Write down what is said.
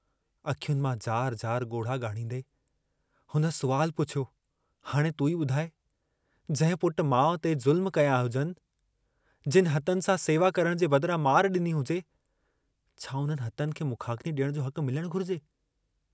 अख्युनि मां जारु-जारु गोढ़हा गाढ़हीदें हुन सुवालु पुछियो हाणे तूं ई बुधाइ जंहिं पुट माउ ते ज़ुल्म कया हुजनि, जिन हथनि सां सेवा करण जे बदरां मार डिनी हुजे, छा उन्हनि हथनि खे मुखाग्नि डियण जो हकु मिलणु घुरिजे?